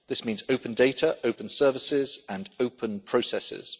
This means open data, open services and open processes.